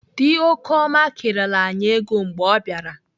Dị Okeoma kerela anyị ego mgbe ọ bịara.